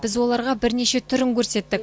біз оларға бірнеше түрін көрсеттік